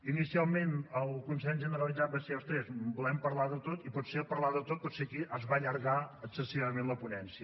inicialment el consens generalitzat va ser ostres volem parlar de tot i potser al parlar de tot aquí es va allargar excessivament la ponència